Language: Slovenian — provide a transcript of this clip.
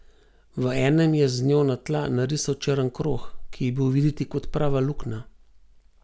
V enem je z njo na tla narisal črn krog, ki je bil videti kot prava luknja.